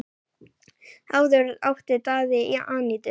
Áður átti Daði Anítu.